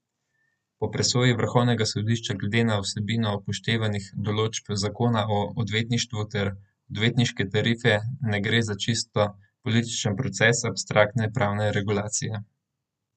Po presoji vrhovnega sodišča glede na vsebino upoštevanih določb zakona o odvetništvu ter Odvetniške tarife ne gre za čisto političen proces abstraktne pravne regulacije.